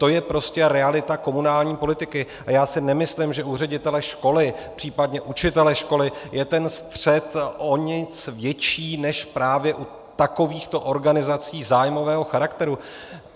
To je prostě realita komunální politiky a já si nemyslím, že u ředitele školy, případně učitele školy není ten střet o nic větší než právě u takovýchto organizací zájmového charakteru.